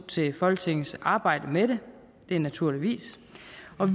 til folketingets arbejde med det naturligvis